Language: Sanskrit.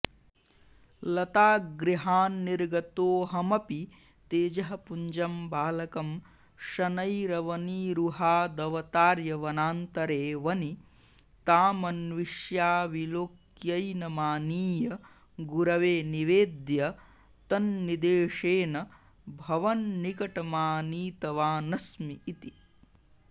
लतागृहान्निर्गतोऽहमपि तेजःपुञ्जं बालकं शनैरवनीरुहादवतार्य वनान्तरे वनि तामन्विष्याविलोक्यैनमानीय गुरवे निवेद्य तन्निदेशेन भवन्निकटमानीतवानस्मिऽइति